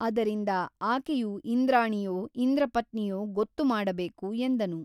ಅದರಿಂದ ಆಕೆಯು ಇಂದ್ರಾಣಿಯೋ ಇಂದ್ರಪತ್ನಿಯೋ ಗೊತ್ತುಮಾಡಬೇಕು ಎಂದನು.